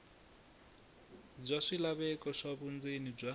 bya swilaveko swa vundzeni bya